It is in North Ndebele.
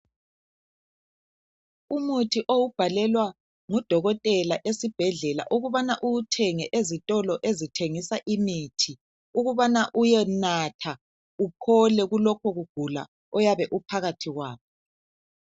Umuthi owubhalelwa ngudokotela esibhedlela ukubana uwuthenge ezitolo ezithengisa imithi ukubana uyenatha, uphold kulokho kugula oyabe uphakathi kwakho.